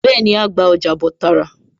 Bẹ́ẹ̀ni, á á gba ọjà bọ̀ tààrà